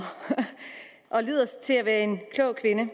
og lyder til at være en klog kvinde